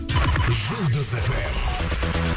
жұлдыз фм